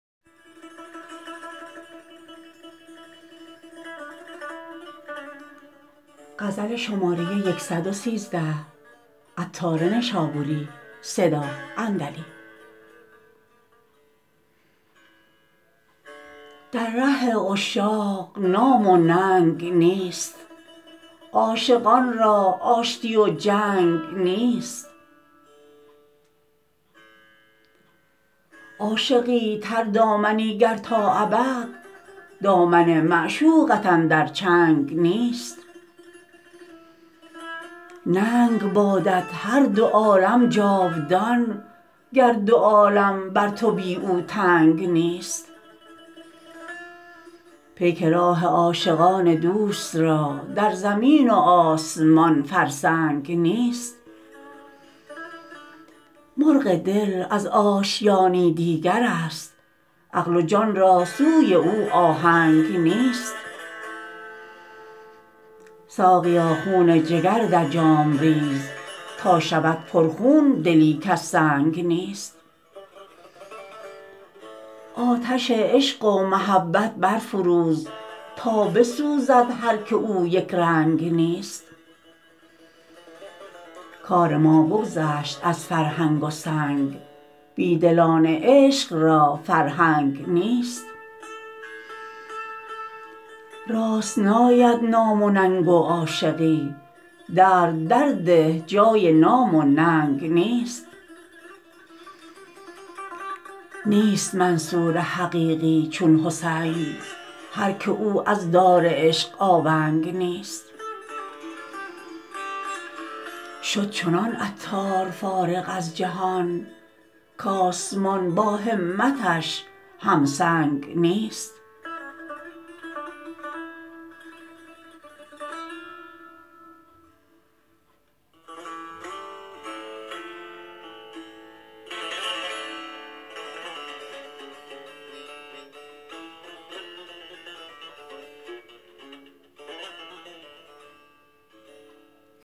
در ره عشاق نام و ننگ نیست عاشقان را آشتی و جنگ نیست عاشقی تردامنی گر تا ابد دامن معشوقت اندر چنگ نیست ننگ بادت هر دو عالم جاودان گر دو عالم بر تو بی او تنگ نیست پیک راه عاشقان دوست را در زمین و آسمان فرسنگ نیست مرغ دل از آشیانی دیگر است عقل و جان را سوی او آهنگ نیست ساقیا خون جگر در جام ریز تا شود پر خون دلی کز سنگ نیست آتش عشق و محبت برفروز تا بسوزد هر که او یک رنگ نیست کار ما بگذشت از فرهنگ و سنگ بیدلان عشق را فرهنگ نیست راست ناید نام و ننگ و عاشقی درد در ده جای نام و ننگ نیست نیست منصور حقیقی چون حسین هر که او از دار عشق آونگ نیست شد چنان عطار فارغ از جهان کآسمان با همتش هم سنگ نیست